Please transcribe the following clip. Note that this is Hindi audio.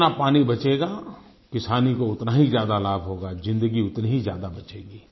जितना पानी बचेगा किसानी को उतना ही ज्यादा लाभ होगा ज़िन्दगी उतनी ही ज्यादा बचेगी